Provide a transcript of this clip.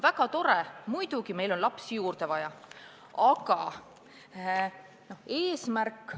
Väga tore, muidugi on meil lapsi juurde vaja!